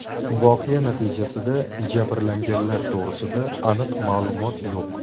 Voqea natijasida jabrlanganlar to‘g‘rida aniq ma’lumot yo‘q.